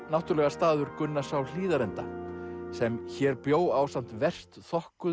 náttúrulega staður Gunnars á Hlíðarenda sem hér bjó ásamt verst